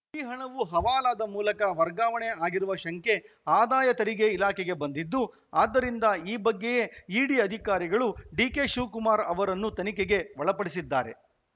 ಈ ಹಣವು ಹವಾಲಾದ ಮೂಲಕ ವರ್ಗಾವಣೆ ಆಗಿರುವ ಶಂಕೆ ಆದಾಯ ತೆರಿಗೆ ಇಲಾಖೆಗೆ ಬಂದಿದ್ದು ಆದ್ದರಿಂದ ಈ ಬಗ್ಗೆಯೇ ಇಡಿ ಅಧಿಕಾರಿಗಳು ಡಿಕೆಶಿವಕುಮಾರ್‌ ಅವರನ್ನು ತನಿಖೆಗೆ ಒಳಪಡಿಸಿದ್ದಾರೆ